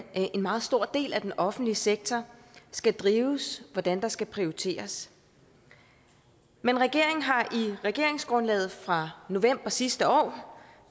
en meget stor del af den offentlige sektor skal drives hvordan der skal prioriteres men regeringen har i regeringsgrundlaget fra november sidste år